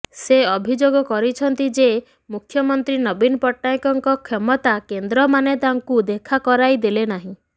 ସେ ଅଭିଯୋଗ କରିଛନ୍ତି ଯେ ମୁଖ୍ୟମନ୍ତ୍ରୀଙ୍କ ନବୀନ ପଟ୍ଟନାୟକଙ୍କ କ୍ଷମତା କେନ୍ଦ୍ରମାନେ ତାଙ୍କୁ ଦେଖା କରାଇ ଦେଲେ ନାହିଁ